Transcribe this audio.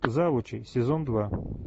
завучи сезон два